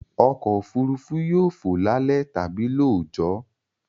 Ọkọ̀-òfurufú yóò fò lálẹ́ tàbí lóòjọ́